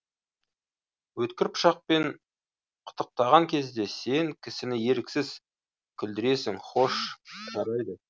өткір пышақпен қытықтаған кезде сен кісіні еріксіз күлдіресің хош жарайды